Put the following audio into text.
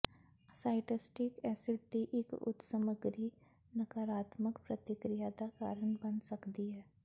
ਸਾਈਟਸਟੀਕ acid ਦੀ ਇੱਕ ਉੱਚ ਸਮੱਗਰੀ ਨਕਾਰਾਤਮਕ ਪ੍ਰਤੀਕ੍ਰਿਆ ਦਾ ਕਾਰਨ ਬਣ ਸਕਦੀ ਹੈ